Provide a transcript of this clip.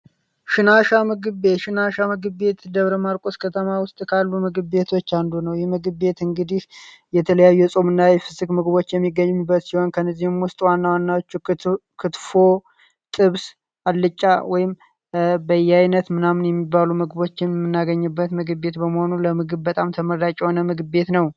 ሽናሽ ምግብ ምግብ ቤት ደብረ ማርቆስ ከተማ ውስጥ ካሉ ምግብ ቤቶች አንዱ ነው የምግብ የት እንግዲ የተለያዩ ጾምና ምግቦች የሚገኙ ጥብስ አልጫ ወይም በያይነት ምናምን የሚባሉ ምግቦችንበት ምግብ ቤት በመሆኑ ለምግበጣም ተመረጫ ነው